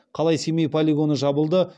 қалай семей полигоны жабылды